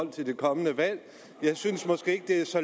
til det kommende valg jeg synes måske ikke det er så